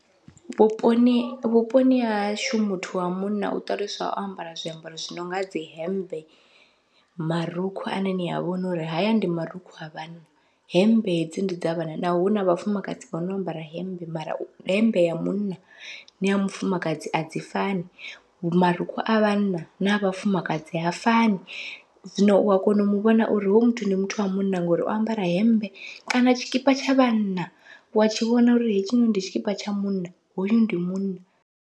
Vhuponi vhuponi hahashu muthu wa munna u ṱaluswa o ambara zwiambaro zwi nonga, dzi hemmbe marukhu ane nia vhona uri haya ndi marukhu a vhanna, hemmbe hedzi ndi dza vhana naho huna vhafumakadzi vha no ambara hemmbe mara hemmbe ya munna naya mufumakadzi adzi fani, marukhu a vhanna na vhafumakadzi ha fani. Zwino ua kona u muvhona uri hoyu muthu ndi muthu wa munna ngori o ambara hemmbe, kana tshikipa tsha vhanna wa tshi vhona uri hetshi ndi tshikipa tsha munna hoyu ndi munna.